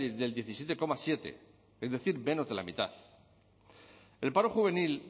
del diecisiete coma siete es decir menos de la mitad el paro juvenil